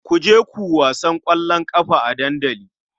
Ku je ku wasan ƙwallon ƙafa a dandali.